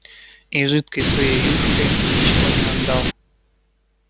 и жидкой своей юшкой ничего не отдал